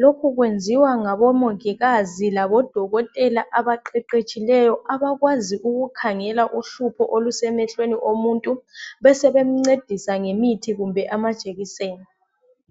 lokhu kwenziwa ngabomongikazi labo dokotela abaqeqetshileyo abakwazi ukukhangela uhlupho olusemehlweni omuntu besebe mncedisa ngomuthi kumbe amajekiseni